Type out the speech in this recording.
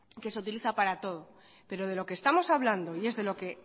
que se utiliza para todo pero de lo que estamos hablando y es de lo que